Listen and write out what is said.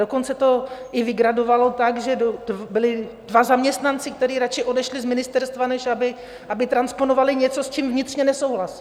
Dokonce to i vygradovalo tak, že byli dva zaměstnanci, kteří radši odešli z ministerstva, než aby transponovali něco, s čím vnitřně nesouhlasí.